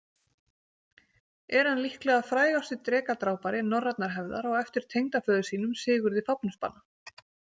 Er hann líklega frægasti drekadrápari norrænnar hefðar, á eftir tengdaföður sínum Sigurði Fáfnisbana.